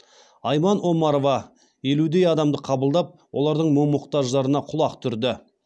айман омарова елудей адамды қабылдап олардың мұң мұқтаждарына құлақ түрді